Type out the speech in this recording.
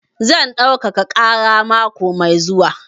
Zan ɗaukaka ƙara mako mai zuwa.